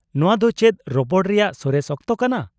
-ᱱᱚᱶᱟ ᱫᱚ ᱪᱮᱫ ᱨᱚᱯᱚᱲ ᱨᱮᱭᱟᱜ ᱥᱚᱨᱮᱥ ᱚᱠᱛᱚ ᱠᱟᱱᱟ ?